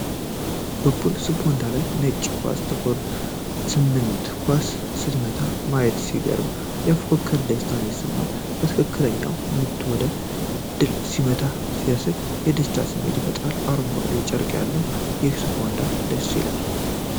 በፑል ስፖንዳ ላይ ነጭ ኳስ ጥቁሯን ስምንት ኳስ ስትመታ ማየት ሲያስገርም፣ የፉክክር ደስታ ይሰማል። ትክክለኛው ምት ወደ ድል ሲመራ ሲታይ፣ የደስታ ስሜትን ይፈጥራል። አረንጓዴው ጨርቅ ያለው ይህ ስፖንዳ ደስ ይላል።